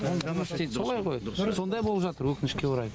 ол жұмыс істейді солай ғой сондай болып жатыр өкінішке орай